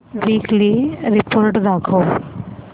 weekly report दाखव